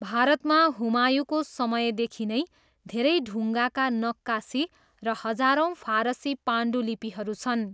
भारतमा हुमायूँको समयदेखि नै धेरै ढुङ्गाका नक्कासी र हजारौँ फारसी पाण्डुलिपिहरू छन्।